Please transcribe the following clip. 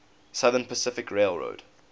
southern pacific railroad